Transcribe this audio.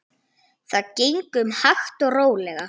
Það gengur hægt og rólega.